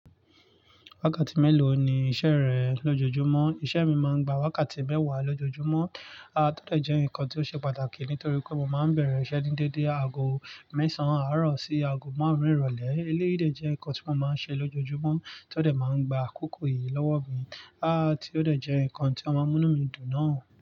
Wákàtí mélòó ni iṣẹ́ rẹ lójoojúmọ́? Iṣẹ́ mi máa ń gba wákàtí mẹ́wàá lójoojúmọ́. Tó de jẹ́ nǹkan ti ó ṣe pàtàkì nítorí pé mo máa ń bẹ̀rẹ̀ iṣẹ́ ní déédé aago mẹ́sàn-án àárọ̀ sí aago márùn-ún ìrọ̀lẹ́. Eléyìí de jẹ́ nǹkan tí mo máa ń ṣe lójoojúmọ́ tí ó de máa ń gba àkókò yìí lọ́wọ́ mi. Tí ó de jẹ́ nǹkan tí a maa mú inu mi dùn náà.